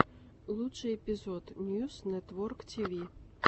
лучший эпизод ньюс нэтворктиви